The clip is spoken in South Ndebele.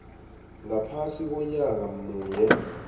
ngaphasi konyaka munye